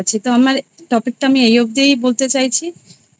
তো আমার topic টা এই অব্ধিই বলতে চাইছি